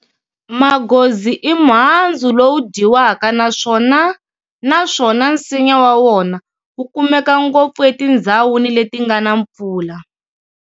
Maghozi i muhandzu lowu dyiwaka naswona naswona nsinya wa wona wu kumeka ngopfu etindhzawuni leti ngana mpfula.